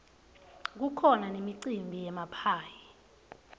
kukhona nemicimbi yemaphayhi